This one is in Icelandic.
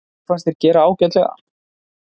Mér fannst þeir gera ágætlega.